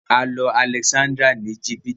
A lọ Alexanderia ni Egypt.